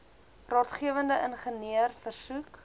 raadgewende ingenieur versoek